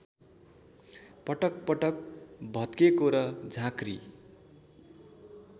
पटकपटक भत्केको र झाँक्री